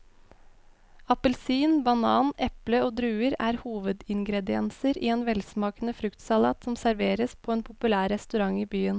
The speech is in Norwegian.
Appelsin, banan, eple og druer er hovedingredienser i en velsmakende fruktsalat som serveres på en populær restaurant i byen.